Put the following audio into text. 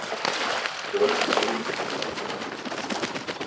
Komum heim í gær.